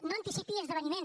no anticipi esdeveniments